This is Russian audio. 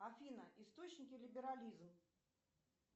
афина источники либерализм